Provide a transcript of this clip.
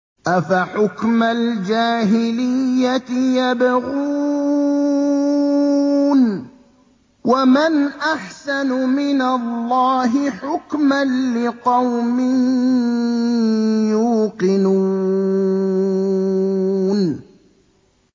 أَفَحُكْمَ الْجَاهِلِيَّةِ يَبْغُونَ ۚ وَمَنْ أَحْسَنُ مِنَ اللَّهِ حُكْمًا لِّقَوْمٍ يُوقِنُونَ